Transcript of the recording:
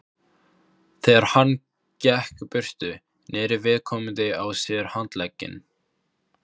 Þegar hann gekk burtu, neri viðkomandi á sér handlegginn.